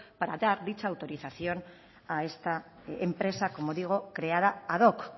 para dar dicha autorización a esta empresa como digo creada ad hoc